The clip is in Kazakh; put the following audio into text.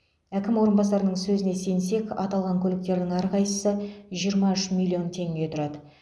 әкім орынбасарының сөзіне сенсек аталған көліктердің әрқайсысы жиырма үш миллион теңге тұрады